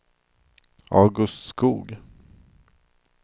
August Skoog